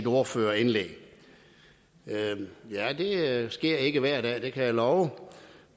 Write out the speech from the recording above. ordførerindlæg ja det sker ikke hver dag det kan jeg love